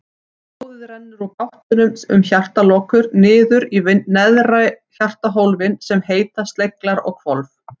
Blóðið rennur úr gáttunum um hjartalokur niður í neðri hjartahólfin sem heita sleglar eða hvolf.